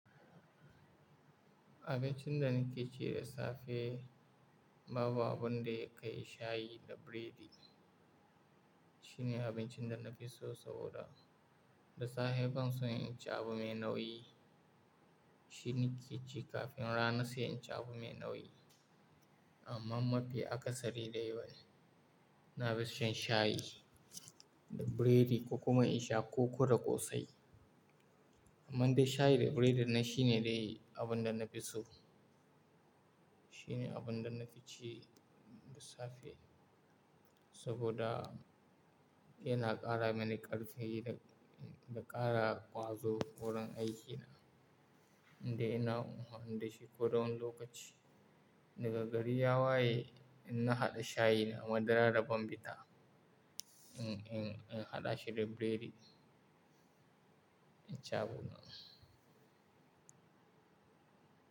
Abincin da nake ci da safe Babu abunda ya kai shayi da biredi. Shine abincin da na fi so saboda da safe ban so in ci abu mai nauyi. Shi nike ci kafin rana sai in ci abu mai nauyi. Amma mafi akasari dai bani, na fi shan shayi da biredi ko kuma in sha koko da ƙosai. Amma dai shayi da biredin nan shine dai abun da na fi so. Shine abun da na fi ci da safe saboda yana ƙara mani ƙarfi da, da ƙara ƙwazo wurin aikina. Eh ina amfani da shi ko da wani lokaci daga gari ya waye in na haɗa shayi na madara da bambita. In, in, in haɗa shi da biredi, in ci abuna.